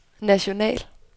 national